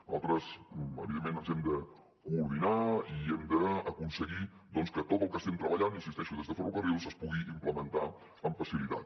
nosaltres evidentment ens hem de coordinar i hem d’aconseguir que tot el que estem treballant hi insisteixo des de ferrocarrils es pugui implementar amb facilitat